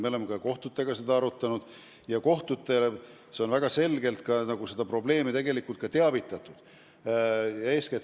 Me oleme seda ka kohtutega arutanud ja kohtuid on väga selgelt probleemist teavitatud.